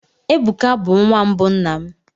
Ebuka bụ nwa mbụ nna m.